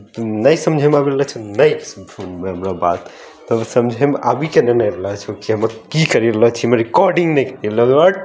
तुम नई समझे हमरा बात तुमरे समझे में आवी कि करेला छे में रिकॉर्डिंग नहीं करेला हट्ट।